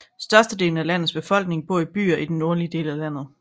Størstedelen af landets befolkning bor i byer i den nordlige del af landet